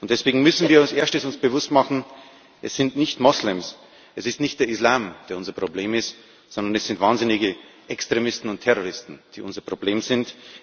Deswegen müssen wir uns als Erstes bewusst machen Es sind nicht Moslems, es ist nicht der Islam, der unser Problem ist, sondern es sind wahnsinnige Extremisten und Terroristen, die unser Problem sind.